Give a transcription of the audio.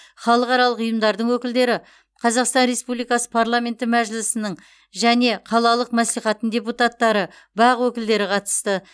халықаралық ұйымдардың өкілдері қазақстан республикасы парламенті мәжілісінің және қалалық мәслихаттың депутаттары бақ өкілдері қатысты